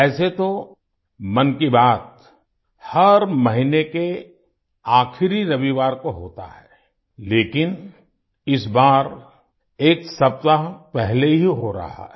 ऐसे तो मन की बात हर महीने के आखिरी रविवार को होता है लेकिन इस बार एक सप्ताह पहले ही हो रहा है